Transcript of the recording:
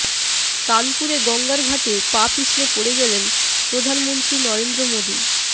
কানপুরে গঙ্গার ঘাটে পা পিছলে পড়ে গেলেন প্রধানমন্ত্রী নরেন্দ্র মোদী